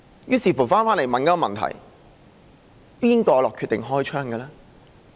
於是，我們便會問一個問題，誰決定開槍？